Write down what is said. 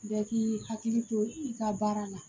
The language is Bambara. Bɛɛ k'i hakili to i ka baara la